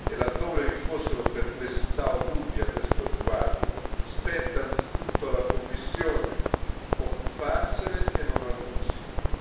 Laddove vi fossero perplessità o dubbi a questo riguardo, spetta anzitutto alla Commissione occuparsene e non al Consiglio.